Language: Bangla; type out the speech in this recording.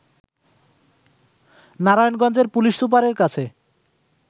নারায়ণগঞ্জের পুলিশ সুপারের কাছে